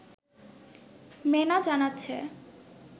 মেনা জানাচ্ছে